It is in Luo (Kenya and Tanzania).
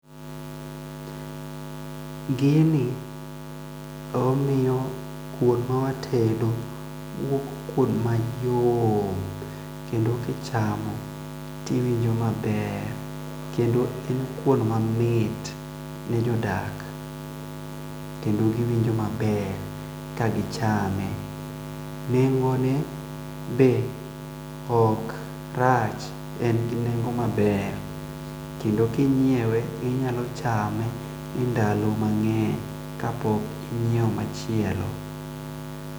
Gini omiyo kwon ma watedo wuok kwon mayom kendo kichamo tiwinjo maber kendo en kwon mamit ne jodak kendo giwinjo maber kagichame, neng'o ne be ok rach engi neng'o maber kendo kinyiewe inyalo chame e ndalo mangeny ka pok inyieo machielo.